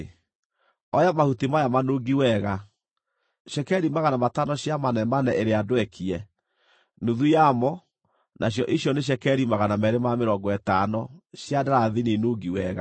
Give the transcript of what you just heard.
“Oya mahuti maya manungi wega: cekeri 500 cia manemane ĩrĩa ndwekie, nuthu yamo (nacio icio nĩ cekeri 250) cia ndarathini nungi wega, na cekeri 250 cia karamathi nungi wega,